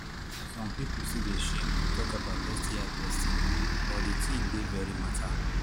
some people still they shame to talk about sti testing but the thing dey very matter